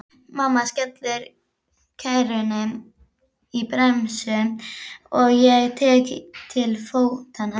Mamma skellir kerrunni í bremsu og ég tek til fótanna.